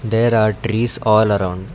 there are trees all around.